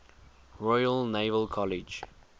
royal naval college